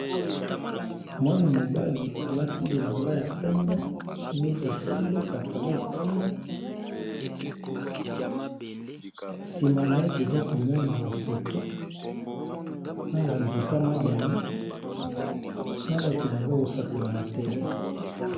Mwana-mobali alati bilamba ya pembe, chemise ya pembe, pantalon ya pembe, nsima na ye toza komona ba poto na ba nzete ya madame na bato baza kosakana na terrain.